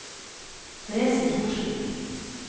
Therese Torsvik